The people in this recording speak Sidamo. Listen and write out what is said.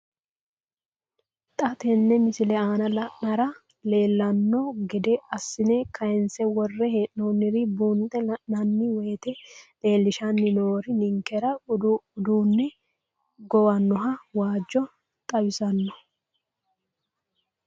Xa tenne missile aana la'nara leellanno gede assine kayiinse worre hee'noonniri buunxe la'nanni woyiite leellishshanni noori ninkera uduunne gowannoha waajjo xawissanno.